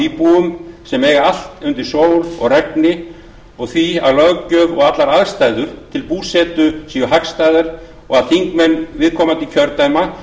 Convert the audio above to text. af íbúunum sem eiga allt undir sól og regni og því að löggjöf og allar aðstæður til búsetu séu hagstæðar og að þingmenn viðkomandi kjördæma